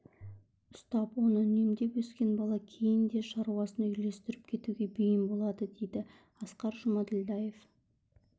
ұстап оны үнемдеп өскен бала кейін де шаруасын үйлестіріп кетуге бейім болады дейді асқар жұмаділдаев